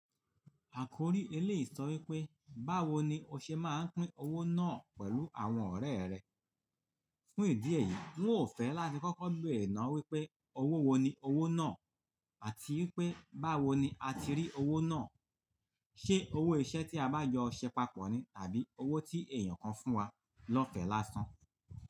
Àkòrí eléyi so wípé báwo ni o ṣe máa ń pín owó náà pẹ̀lú àwọn ọ̀rẹ́ rẹ. Fún ìdí èyí, ń ò fẹ́ láti kọ́kọ́ bere nà wípé owó wo ni owó náà àti wípé báwo ni a ti rí owó náà. Ṣé owó iṣẹ́ tí a bá yọ ṣẹ papọ̀ ni tàbí owó tí èèyàn kan fún wa lọ́fẹ̀ láṣan?